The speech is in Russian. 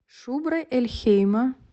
шубра эль хейма